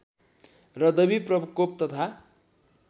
र दैविप्रकोप तथा